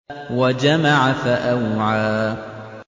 وَجَمَعَ فَأَوْعَىٰ